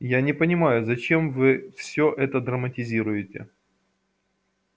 я не понимаю зачем вы всё это драматизируете